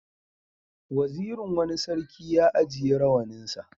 Wazirin wani sarki ya ajiye rawaninsa.